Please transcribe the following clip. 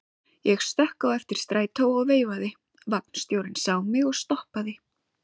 Ég stökk á eftir strætó og veifaði, vagnstjórinn sá mig og stoppaði.